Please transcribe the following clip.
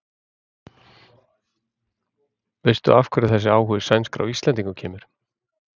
Veistu af hverju þessi áhugi sænskra á Íslendingum kemur?